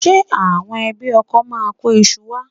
Ǹjẹ́ àwọn ẹbí ọkọ máa kó iṣu wá?